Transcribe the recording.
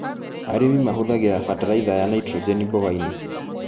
Arĩmi mahũthagĩra bataraitha ya nitrogeni mbogainĩ.